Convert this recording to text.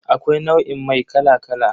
Akwai nau'in mai kala kala.